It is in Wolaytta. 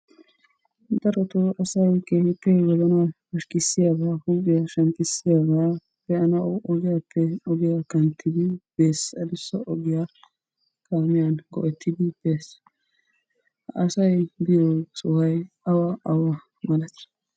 Darotoo asa keehippe wozanaa pashkkisiyaaba , huuphiyaa shemppissiyaaba be'anaw ogiyappe ogiya kanttidi bees. Addussa ogiyaa kaamiya go"ettid bees. Asay biyo sohoy awa awa malati?